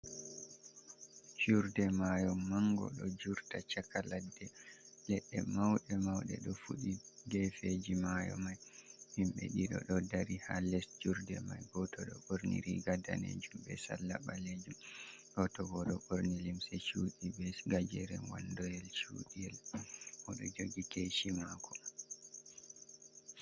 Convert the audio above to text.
Curde mayo mango ɗo jurta chaka ladde. Leɗɗe mawɗe mawɗe ɗo fuɗi gefeji mayo may. Himɓe ɗiɗo ɗo dari ha les jurde may, go to ɗo ɓorni riga danejum be salla ɓalejum, goto bo ɗo ɓorni limse culɗi be gajeren wan doyel cudiel, o ɗo jogi keshi mako.